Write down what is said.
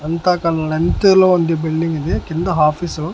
అంత క లెన్త్ లో ఉంది బిల్డింగ్ ఇది కింద హాఫీస్ రూమ్ .